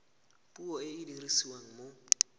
puo e e dirisiwang mo